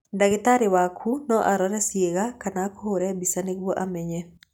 Ndagĩtarĩ waku no arore ciĩga kana akũhũre mbica nĩguo amenye.